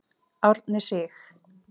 Árni Sig.